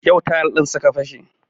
Yau tayal ɗin suka fashe